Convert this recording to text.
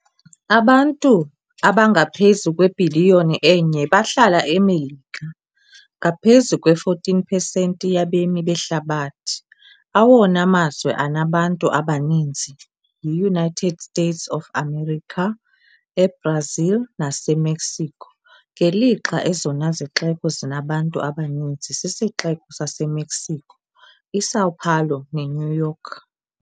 Abantu abangaphezu kwebhiliyoni enye bahlala eMelika, ngaphezu kwe-14 pesenti yabemi behlabathi, awona mazwe anabantu abaninzi yi-United States of America, eBrazil naseMexico, ngelixa ezona zixeko zinabantu abaninzi sisiXeko saseMexico, iSão Paulo neNew York.